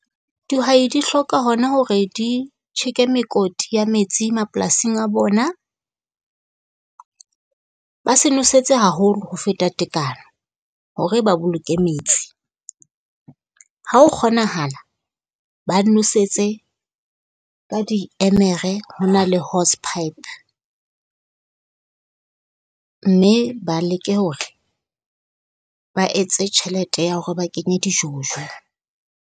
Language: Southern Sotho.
Dihwai di hloka ho na hore di tjheke a mekoti ya metsi mapolasing a bona. Ba se nwesetse haholo ho feta tekano, hore ba boloke metsi. Ha ho kgonahala, ba nwesetse ka diemere ho na le hose pipe. Mme ba leke hore ba etse tjhelete ya hore ba kenye di-jojo.